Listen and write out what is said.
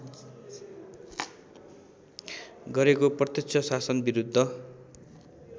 गरेको प्रत्यक्ष शासनविरुद्ध